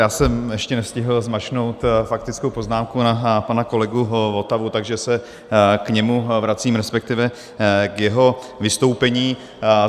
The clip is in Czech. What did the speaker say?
Já jsem ještě nestihl zmáčknout faktickou poznámku na pana kolegu Votavu, takže se k němu vracím, respektive k jeho vystoupení.